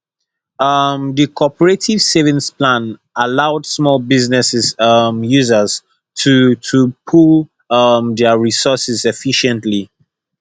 um di cooperative savings plan allowed small business um owners to to pool um dia resources efficiently